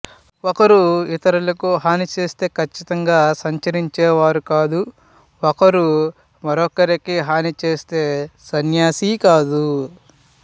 ఒకరు ఇతరులకు హాని చేస్తే ఖచ్చితంగా సంచరించేవారు కాదు ఒకరు మరొకరికి హాని చేస్తే సన్యాసి కాదు